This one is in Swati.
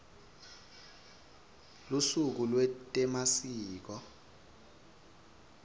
lusuku lwetemasiko